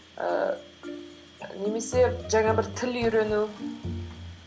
ііі немесе жаңа бір тіл үйрену